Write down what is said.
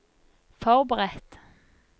forberedt